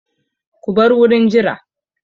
Ku bar wurin jira!